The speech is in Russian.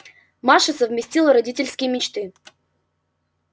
маша совместила родительские мечты